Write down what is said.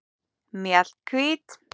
Mjallhvít